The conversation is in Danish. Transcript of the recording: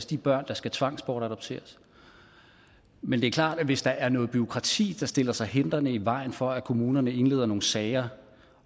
de børn der skal tvangsbortadopteres men det er klart at hvis der er noget bureaukrati der stiller sig hindrende i vejen for at kommunerne indleder nogle sager